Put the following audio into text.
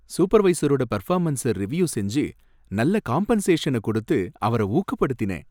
சூப்பர்வைசரோட performance review செஞ்சி நல்ல காம்பன்சேஷன கொடுத்து அவர ஊக்கப்படுத்தினேன்.